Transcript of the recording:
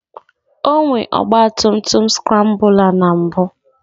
O nwere ọgba tum tum skrambụla na mbụ